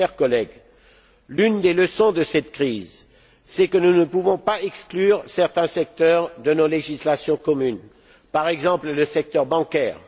Chers collègues, l'une des leçons de cette crise, c'est que nous ne pouvons pas exclure certains secteurs de nos législations communes, comme le secteur bancaire.